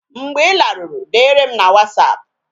Mgbe ị laruru, dere m na wasapụ